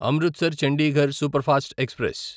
Amritsar Chandigarh superfast express